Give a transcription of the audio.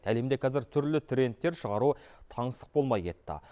әлемде қазір түрлі трендтер шығару таңсық болмай кетті